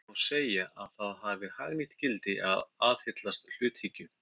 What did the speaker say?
Því má segja að það hafi hagnýtt gildi að aðhyllast hluthyggju.